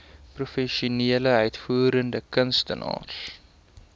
professionele uitvoerende kunstenaars